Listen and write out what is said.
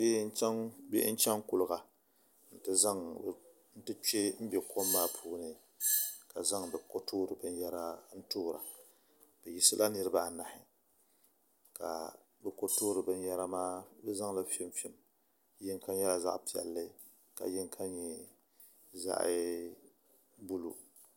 Bihi n chɛŋ kuliga n ti kpɛ n bɛ kom maa puuni ka zaŋ bi ko toori binyɛra n toora bi yiɣisila niraba anahi ka bi ko toori binyɛra maa bi zaŋli fimfim yinga nyɛla zaɣ piɛlli ka yinga nyɛ zaɣ yɛlo